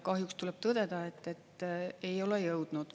Kahjuks tuleb tõdeda, et ei ole jõudnud.